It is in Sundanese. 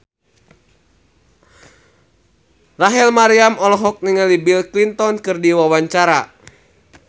Rachel Maryam olohok ningali Bill Clinton keur diwawancara